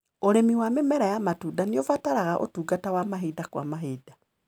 ũrĩmi wa mĩmera ya matunda nĩũbataraga ũtungata wa mahinda kwa mahinda.